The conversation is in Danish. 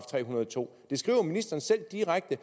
tre hundrede og to det skriver ministeren selv direkte